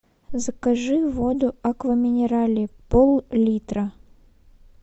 закажи воду аква минерале поллитра